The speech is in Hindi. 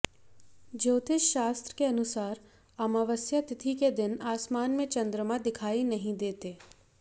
ज्योतिष शास्त्र के अनुसार अमावस्या तिथि के दिन आसमान में चंद्रमा दिखाई नहीं देते